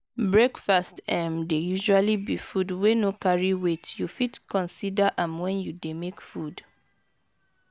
breakfast um dey usually be food wey no carry weight you fit consider am when you dey make food